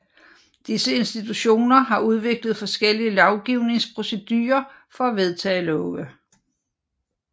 Disse institutioner har udviklet forskellige lovgivningsprocedurer for at vedtage love